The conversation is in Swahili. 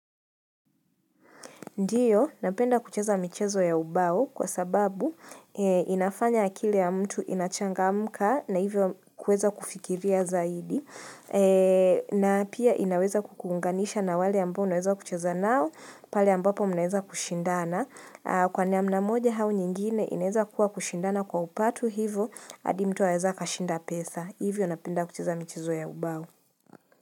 Ndiyo, napenda kucheza michezo ya ubao kwa sababu inafanya akili ya mtu inachangamka na hivyo kuweza kufikiria zaidi. Na pia inaweza ku kuunganisha na wale ambao unaweza kucheza nao, pale ambapo munaweza kushindana. Kwa mna moja au nyingine inaweza kuwa kushindana kwa upato hivyo, hadi mtu anaweza akashinda pesa. Hivyo napenda kucheza michezo ya ubao.